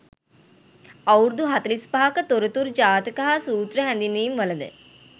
අවුරුදු 45 ක තොරතුරු ජාතක හා සූත්‍ර හැඳින්වීම්වලද,